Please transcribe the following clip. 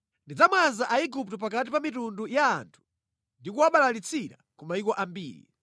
Ndidzamwaza Aigupto pakati pa mitundu ya anthu ndikuwabalalitsira ku mayiko ambiri.